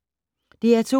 DR2